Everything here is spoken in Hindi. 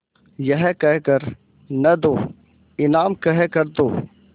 यह कह कर न दो इनाम कह कर दो